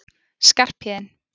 Skarphéðinn